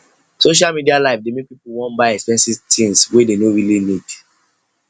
social media life dey make people wan buy expensive things wey no really need